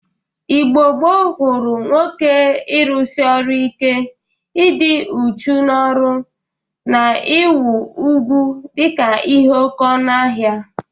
Igbo gboo gụrụ nwoke ịrụsị ọrụ ike, ịdị uchu n'ọrụ na inwe ugwu dịka ihe oke ọnụ ahịa.